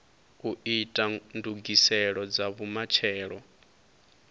u ita ndugiselo dza vhumatshelo